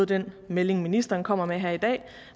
den melding ministeren kommer med her i dag